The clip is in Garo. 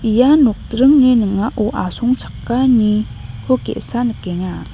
ia nokdringni ning·ao asongchakaniko ge·sa nikenga.